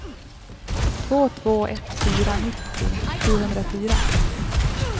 två två ett fyra nittio sjuhundrafyra